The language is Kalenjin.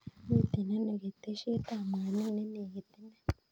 Miten ano keteshet ab mwanik nenekit inei